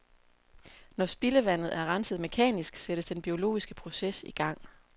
Når spildevandet er renset mekanisk, sættes den biologiske proces i gang.